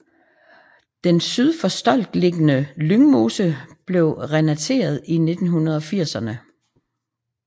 Den syd for Stolk beliggende Lyngmose blev renateret i 1980erne